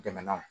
Dɛmɛ na